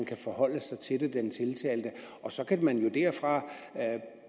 kan forholde sig til det så kan man jo derfra